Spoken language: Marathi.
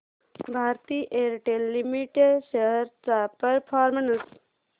भारती एअरटेल लिमिटेड शेअर्स चा परफॉर्मन्स